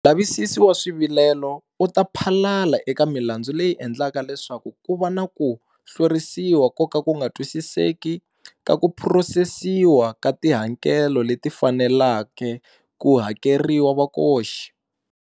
Mulavisisi wa Swivilelo u ta phalala eka milandzu leyi endlaka leswaku ku va na ku hlwerisiwa ko ka ku nga twisiseki ka ku phurosesiwa ka tihakelo leti faneleke ku hakeriwa vakoxi.